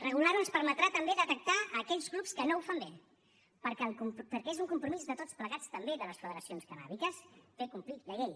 regular ho ens permetrà també detectar aquells clubs que no ho fan bé perquè és un compromís de tots plegats també de les federacions cannàbiques fer complir la llei